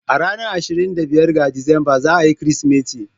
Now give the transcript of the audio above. A ranar ashirin da biyar ga Disamba za a yi Kirsimeti.